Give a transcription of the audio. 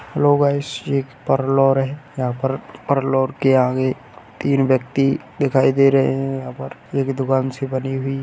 hello guys ये एक parlour है यहाँ पर परलौर के आगे तीन व्यक्ति दिखाई दे रहें हैं यहाँ पर एक दुकान सी बनी हुई --